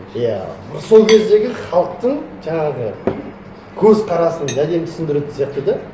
иә бір сол кездегі халықтың жаңағы көзқарасын әдемі түсіндіретін сияқты да